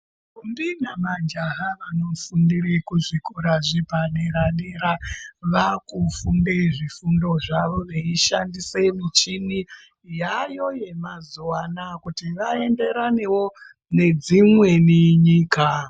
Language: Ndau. Ndombi na majaha ano fundire ku zvikora zvepa dera dera vaku funde zvifundo zvavo vei shandise michini yaayo yema zuva anaya kuti va enderanewo ne dzimweni nyika.